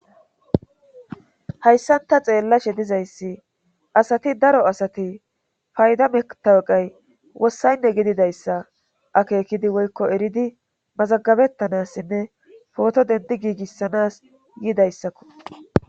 Hayssanta xeellashe dizayssi asati daro asati fayda metaweqay wossaynne gididayssa akeekidi woykko eridi mazagabettanassinne pooto dendi giigissanas yidayssakko.